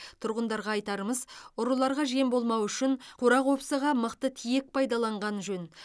тұрғындарға айтарымыз ұрыларға жем болмау үшін қора қопсыға мықты тиек пайдаланғаны жөн